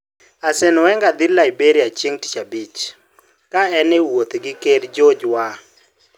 Arsène Wenger dhi Liberia chieng' Tich Abich, ka en e wuoth gi Ker George Weah